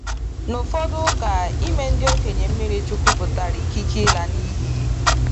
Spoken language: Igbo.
Na ụfọdụ ụka, ịme ndị okenye mmiri chukwu pụtara ikike ịla n’iyi.